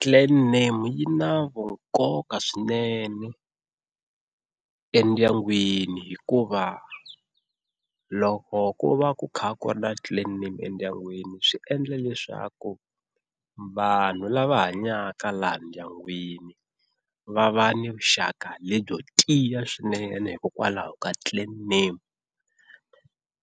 Clan name yi na vu nkoka swinene endyangwini hikuva loko ku va ku kha ku ri na clan name endyangwini swi endla leswaku vanhu lava hanyaka laha ndyangwini va va ni vuxaka lebyo tiya swinene hikokwalaho ka clan name.